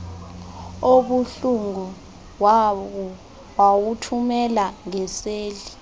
obuhlungu wawuthumela ngeseli